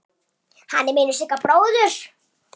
Hann er vinur Sigga bróður.